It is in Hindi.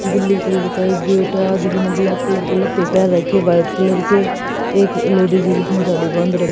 ब्लू कलर का एक गेट है। आदमी ने ब्लैक कलर के लते पहन रखे हैं व्हाइट कलर के एक लेडीज की जिसने साड़ी बांध --